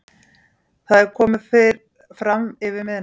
Það er komið framyfir miðnætti.